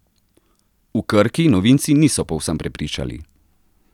V Krki novinci niso povsem prepričali.